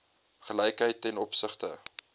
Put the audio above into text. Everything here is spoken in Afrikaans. gelykheid ten opsigte